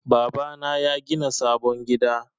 Baba na yagina sabon gida.